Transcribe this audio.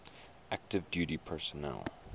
active duty personnel